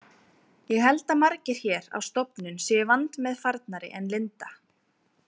Ég held að margir hér á stofnun séu vandmeðfarnari en Linda.